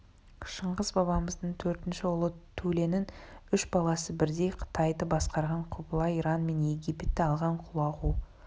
шыңғыс бабамыздың төртінші ұлы төленің үш баласы бірдей қытайды басқарған құбылай иран мен египетті алған құлағу